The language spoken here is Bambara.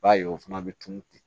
I b'a ye o fana bɛ tunun ten